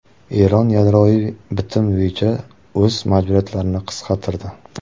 Eron yadroviy bitim bo‘yicha o‘z majburiyatlarini qisqartirdi.